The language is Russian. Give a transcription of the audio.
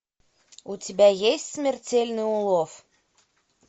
у тебя есть смертельный улов